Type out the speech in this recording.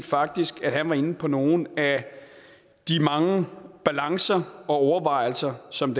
faktisk var inde på nogle af de mange balancer og overvejelser som